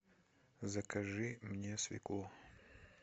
закажи мне свеклу